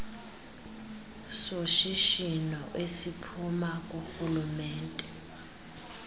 soshishino esiphuma kurhulumente